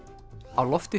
á lofti